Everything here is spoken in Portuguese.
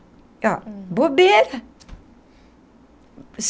Ó, bobeira!